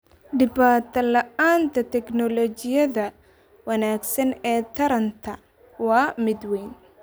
Dhibaatada la'aanta tignoolajiyada wanaagsan ee taranta waa mid weyn.